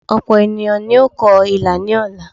Òpò ènìyàn ni yóò kọ ilà ní ọ̀la